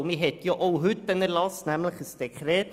Denn man hat auch heute einen Erlass, nämlich ein Dekret.